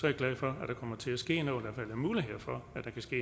jeg glad for at der kommer til at ske noget hvert fald er muligheder for